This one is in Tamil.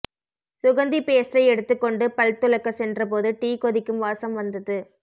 சுகந்தி பேஸ்டை எடுத்துக் கொண்டு பல்துலக்க சென்ற போது டீ கொதிக்கும் வாசம் வந்தது